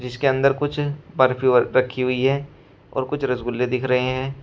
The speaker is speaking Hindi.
इसके अंदर कुछ बर्फ ही बर्फ रखी हुई है और कुछ रसगुल्ले दिख रहे हैं।